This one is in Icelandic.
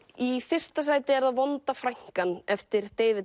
í fyrsta sæti er það vonda frænkan eftir David